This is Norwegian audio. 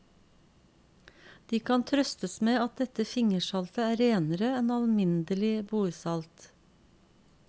De kan trøstes med at dette fingersaltet er renere enn alminnelig bordsalt.